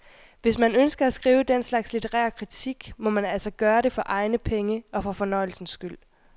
Hvis man ønsker at skrive den slags litterær kritik må man altså gøre det for egne penge og for fornøjelsens skyld.